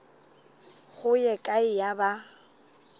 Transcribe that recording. go ye kae ya ba